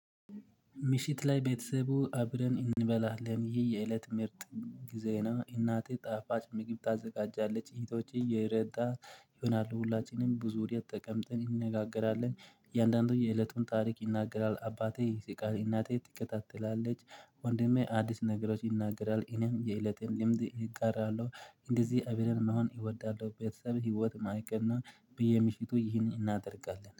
ምሽት ላይ ቤተሰቡ አብረን እንበላለን ይሄ የእለት ምርጥ ጊዜ ነው። እናቴ ጣፋጭ ምግብ ታዘጋጃለች እህቶች እየረዳ ይሆናሉ ሁላችንም ብዙ ወዴት ተቀምጥን እንነጋገራለን። እያንዳንዱ የእለቱን ታሪክ ይናገራል አባቴ ስቃይ እናቴ ትከታተላለች። ወንድሜ አዲስ ነገሮች ይናገራል እኔም የእለቴን ልምድ እጋራለሁ። እንደዚህ አብርን መሆን እወዳለሁ። ቤተሰብ ህይወት ማይቀና በየምሽቱ ይህንን እናደርጋለን